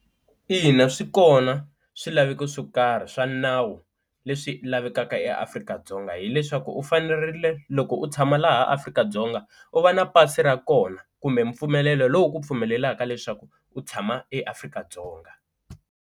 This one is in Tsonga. Ina swi kona swilaveko swo karhi swa nawu leswi lavekaka eAfrika-Dzonga hileswaku u fanerile loko u tshama laha Afrika-Dzonga u va na pasi ra kona kumbe mpfumelelo lowu ku pfumelelaka leswaku u tshama eAfrika-Dzonga.